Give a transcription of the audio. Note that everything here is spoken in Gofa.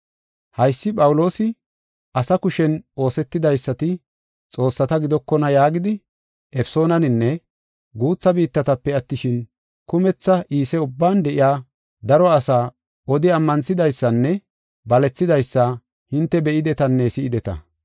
Haysi Phawuloosi, ‘Asa kushen oosetidaysati xoossata gidokona’ yaagidi, Efesoonaninne guutha biittatape attishin, kumetha Iise ubban de7iya daro asaa odi ammanthidaysanne balethidaysa hinte be7idetanne si7ideta.